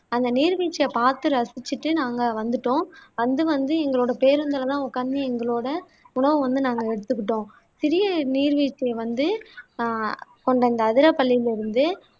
அந்த நீர்வீழ்ச்சியை பாத்து ரசிச்சுட்டு நாங்க வந்துட்டோம் வந்து வந்து எங்களோட பேருந்துல தான் உக்காந்து எங்களோட உணவை வந்து நாங்க எடுத்துக்கிட்டோம் சிறிய நீர்வீழ்ச்சி வந்து ஆஹ் கொண்ட இந்த அதிரப்பள்ளியில இருந்து